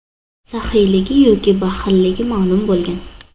saxiyligi yoki baxilligi ma’lum bo‘lgan.